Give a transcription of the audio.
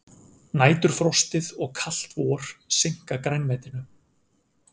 Næturfrostið og kalt vor seinka grænmetinu